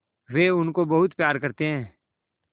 वे उनको बहुत प्यार करते हैं